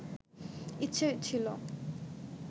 ইচ্ছে ছিলো